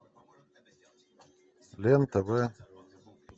лен тв